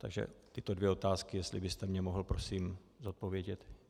Takže tyto dvě otázky, jestli byste mně mohl prosím zodpovědět.